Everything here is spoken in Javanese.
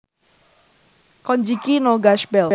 Konjiki no Gash Bell